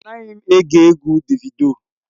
Anaghị m ege egwu Davido.